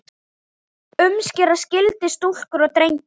Umskera skyldi stúlkur og drengi.